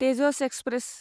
Tejas express